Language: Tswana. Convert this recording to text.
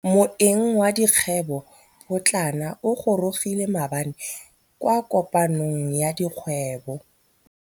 Moêng wa dikgwêbô pôtlana o gorogile maabane kwa kopanong ya dikgwêbô.